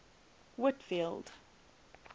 whitfield